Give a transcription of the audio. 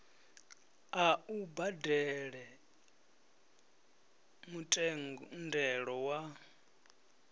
a u badele mutendelo wa